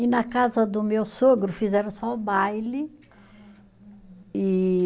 E na casa do meu sogro, fizeram só o baile. E